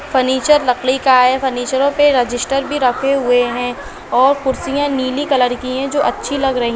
Furniture लकड़ी का हैं फर्निचरो पे रजिस्टर भी रखे हुए है और कुर्सियां नीली कलर की हैं जो अच्छी लग रही हैं।